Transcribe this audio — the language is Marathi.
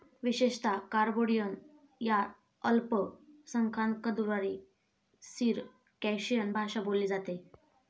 विशेषतः, काबार्डिअन या अल्पसंख्यांकद्वारा सिरकॅशिअन भाषा बोलली जाते.